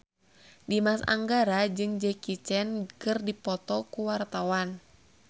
Dimas Anggara jeung Jackie Chan keur dipoto ku wartawan